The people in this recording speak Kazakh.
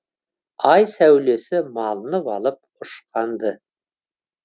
ай сәулесіне малынып алып ұшқанды